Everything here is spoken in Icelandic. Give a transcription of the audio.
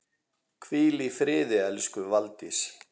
Hvíl í friði elsku Valdís.